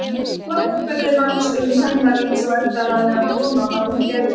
Mamma spurði margs um Hemma eins og Edda hafði átt von á að hún gerði.